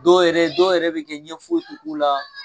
Dɔw yɛrɛ dɔw yɛrɛ bɛ kɛ ɲɛ foyi yɛrɛ ti k'u la.